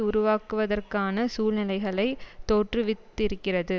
உருவாக்குவதற்கான சூழ்நிலைகளை தோற்றுவித்திருக்கிறது